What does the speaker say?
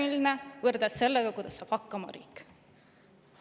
– võrreldes sellega, kuidas saab hakkama riik.